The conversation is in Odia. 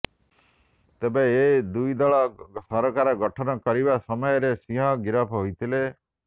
ତେବେ ଏ ଦୁଇ ଦଳ ସରକାର ଗଠନ କରିବା ସମୟରେ ସିଂହ ଗିରଫ ହୋଇ ଥିଲେ